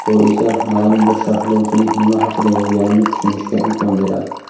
bu esa maʼlum bir sharhlovchining nima haqida yozganini tushunishga imkon beradi.